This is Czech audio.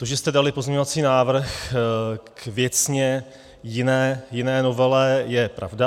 To, že jste dali pozměňovací návrh k věcně jiné novele, je pravda.